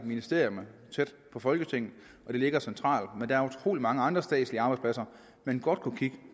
ministerierne tæt på folketinget så det ligger centralt men der er utrolig mange andre statslige arbejdspladser man godt kunne kigge